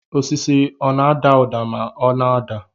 Osisi ọ na-ada ụda ma ọ na-ada